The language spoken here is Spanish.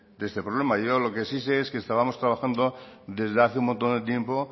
de este problema yo lo que sí sé es que estábamos trabajando desde hace un montón de tiempo